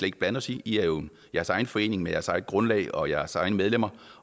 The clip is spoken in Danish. ikke blande os i i er jo jeres egen forening med jeres eget grundlag og jeres egne medlemmer